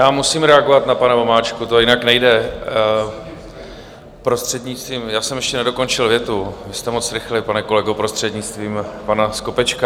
Já musím reagovat na pana Vomáčku, to jinak nejde, prostřednictvím - já jsem ještě nedokončil větu, vy jste moc rychlý, pane kolego - prostřednictvím pana Skopečka.